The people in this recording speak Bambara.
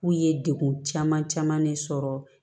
K'u ye degun caman caman ne sɔrɔ